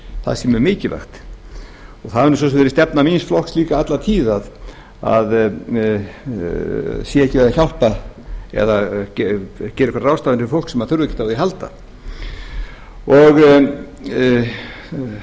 það sé mjög mikilvægt og það hefur svo sem verið stefna míns flokks líka alla tíð að það sé ekki verið að hjálpa eða gera einhverjar ráðstafanir fyrir fólk sem þarf ekkert á því að halda